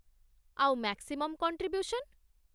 ଆଉ maximum contribution?